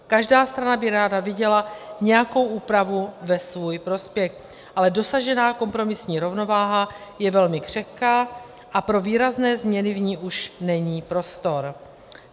Každá strana by ráda viděla nějakou úpravu ve svůj prospěch, ale dosažená kompromisní rovnováha je velmi křehká a pro výrazné změny v ní už není prostor.